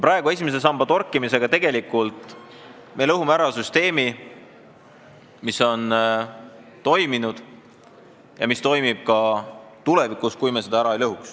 Praegu me esimese samba torkimisega lõhume ära süsteemi, mis on toiminud ja mis toimib ka tulevikus, kui me seda ära ei lõhu.